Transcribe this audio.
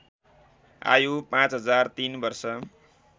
आयु ५००३ वर्ष